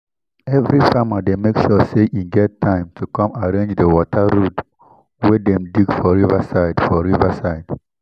every farmer dey make sure say e get time to come arrange di water road wey dem dig for river side for river side